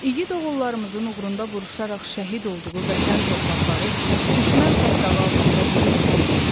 İgid oğullarımızın uğrunda vuruşaraq şəhid olduğu vətən torpaqları düşmən tapdağı altında necə qala bilərdi?